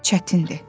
çətindir.